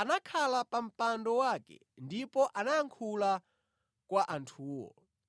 anakhala pa mpando wake ndipo anayankhula kwa anthuwo.